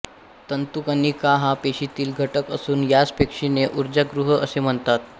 तंतूकणिका हा पेशीतील घटक असुन यास पेशीचे ऊर्जागृह असे म्हणतात